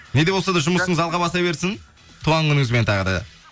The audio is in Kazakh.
не де болса да жұмысыңыз алға баса берсін туған күніңізбен тағы да